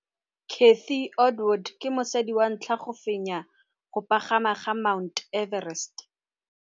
Baagisani ba ne ba na le tumalanô ya go tlosa bojang.